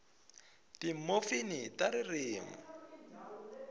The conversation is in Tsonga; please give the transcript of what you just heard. timofimi ta ririmi